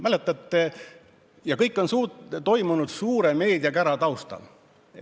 Ja see kõik on toimunud suure meediakära taustal.